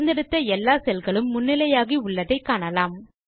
தேர்ந்தெடுத்த எல்லா செல் களும் முன்னிலையாகி உள்ளதை காணலாம்